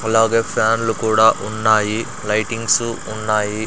అలాగే ఫ్యాన్లు కూడా ఉన్నాయి లైటింగ్సు ఉన్నాయి.